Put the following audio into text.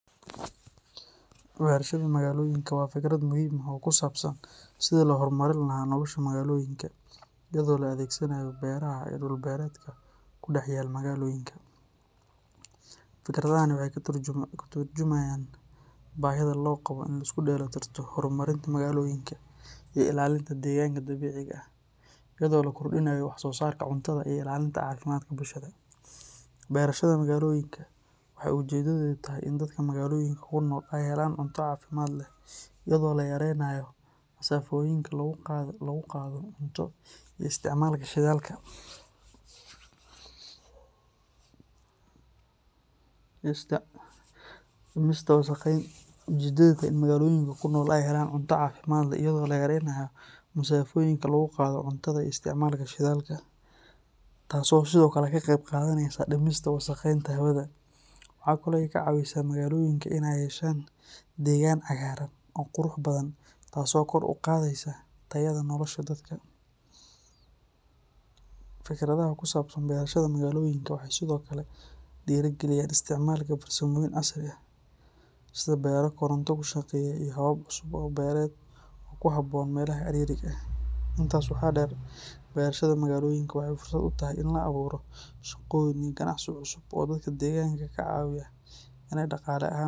Beerashada magaloyinka waa fikrad muhiim ah oo ku saabsan sidii loo horumarin lahaa nolosha magaalooyinka iyada oo la adeegsanayo beeraha iyo dhul-beereedka ku dhex yaal magaalooyinka. Fikradahani waxay ka tarjumayaan baahida loo qabo in la isku dheelitirto horumarinta magaalooyinka iyo ilaalinta deegaanka dabiiciga ah, iyadoo la kordhinayo wax soo saarka cuntada iyo ilaalinta caafimaadka bulshada. Beerashada magaloyinka waxay ujeedadeedu tahay in dadka magaalooyinka ku nool ay helaan cunto caafimaad leh, iyadoo la yareynayo masaafooyinka lagu qaado cuntada iyo isticmaalka shidaalka, taas oo sidoo kale ka qeyb qaadaneysa dhimista wasakheynta hawada. Waxa kale oo ay ka caawisaa magaalooyinka inay yeeshaan deegaan cagaaran oo qurux badan, taas oo kor u qaadaysa tayada nolosha dadka. Fikradaha ku saabsan beerashada magaloyinka waxay sidoo kale dhiirrigeliyaan isticmaalka farsamooyin casri ah sida beero koronto ku shaqeeya iyo habab cusub oo beereed oo ku habboon meelaha ciriiriga ah. Intaas waxaa dheer, beerashada magaloyinka waxay fursad u tahay in la abuuro shaqooyin iyo ganacsi cusub oo dadka deegaanka ka caawiya inay dhaqaale ahaan.